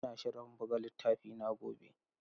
Ina shirin buga littafina gobe.